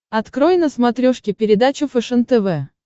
открой на смотрешке передачу фэшен тв